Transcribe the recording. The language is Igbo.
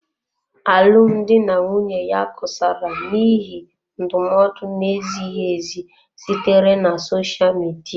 Alụmdi na nwunye ya kusara n'ihi ndụmọdụ na-ezighị ezi sitere na sosha Midia.